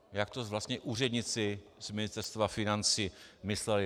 - jak to vlastně úředníci z Ministerstva financí mysleli.